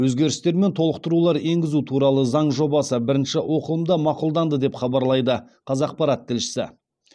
өзгерістер мен толықтырулар енгізу туралы заң жобасы бірінші оқылымда мақұлданды деп хабарлайды қазақпарат тілшісі